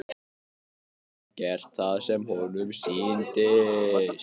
Hann gat gert það sem honum sýndist.